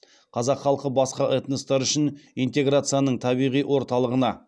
қазақ халқы басқа этностар үшін интеграцияның табиғи орталығына